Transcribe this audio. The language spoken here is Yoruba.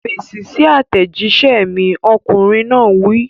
Fèsì sí àtẹ̀jíṣẹ́ mi! Ọkùnrin náà wí.